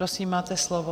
Prosím, máte slovo.